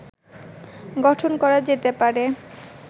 গঠন করা যেতে পারে